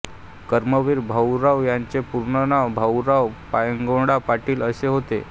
कर्मवीर भाऊराव यांचे पूर्ण नाव भाऊराव पायगौंडा पाटील असे होते